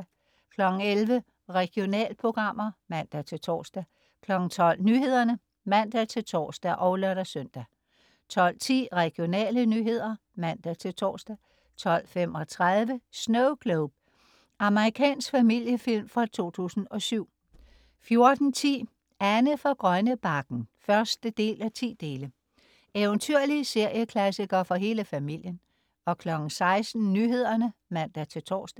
11.00 Regionalprogrammer (man-tors) 12.00 Nyhederne (man-tors og lør-søn) 12.10 Regionale nyheder (man-tors) 12.35 Snowglobe. Amerikansk familiefilm fra 2007 14.10 Anne fra Grønnebakken 1:10. Eventyrlig serieklassiker for hele familien 16.00 Nyhederne (man-tors)